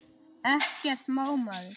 Ekkert má maður!